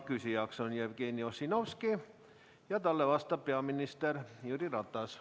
Küsijaks on Jevgeni Ossinovski ja talle vastab peaminister Jüri Ratas.